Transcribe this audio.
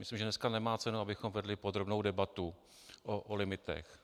Myslím, že dneska nemá cenu, abychom vedli podrobnou debatu o limitech.